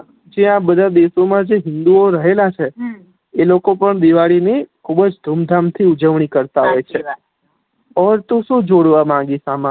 જે આ દેશો મા જે હિંદુઓ રહેલા છે એ લોકો પણ દિવાળી ની ખુબજ ધૂમ ધામ થી ઉજવણી કરતા હોય છે ઔર તું શું જોડવ માંગીશ આમા